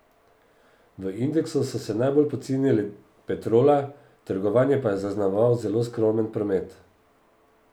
V indeksu so se najbolj pocenile Petrola, trgovanje pa je zaznamoval zelo skromen promet.